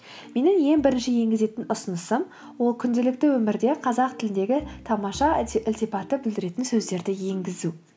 менің ең бірінші еңгізетін ұсынысым ол күнделікті өмірде қазақ тіліндегі тамаша ілтипатты білдіретін сөздерді енгізу